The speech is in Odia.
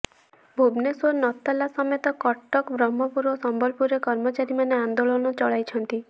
ଭୁବନେଶ୍ୱର ନତାଲା ସମେତ କଟକ ବ୍ରହ୍ମପୁର ଓ ସମ୍ବଲପୁରରେ କର୍ମଚାରୀମାନେ ଆନ୍ଦୋଳନ ଚଳାଇଛନ୍ତି